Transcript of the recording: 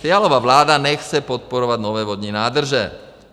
Fialova vláda nechce podporovat nové vodní nádrže.